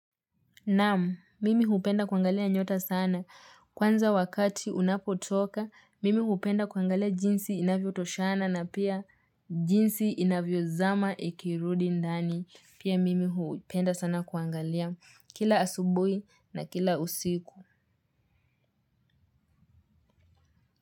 Naamu, mimi hupenda kuangalia nyota sana. Kwanza wakati unapotoka, mimi hupenda kuangalia jinsi inavyo toshana na pia jinsi inavyo zama ikirudi ndani. Pia mimi hupenda sana kuangalia kila asubui na kila usiku.